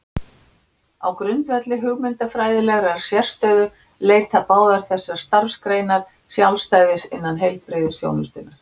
Á grundvelli hugmyndafræðilegrar sérstöðu leita báðar þessar starfsgreinar sjálfstæðis innan heilbrigðisþjónustunnar.